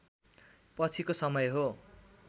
पछिको समय हो